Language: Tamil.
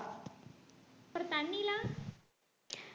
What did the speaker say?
அப்புறம் தண்ணிலாம்